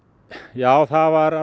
já það var